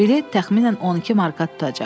Bilet təxminən 12 marka tutacaq.